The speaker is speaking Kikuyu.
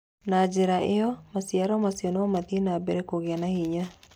Na njĩra ĩyo, maciaro macio no mathiĩ na mbere kũgĩa na hinya.